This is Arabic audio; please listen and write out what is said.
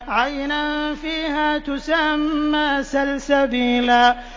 عَيْنًا فِيهَا تُسَمَّىٰ سَلْسَبِيلًا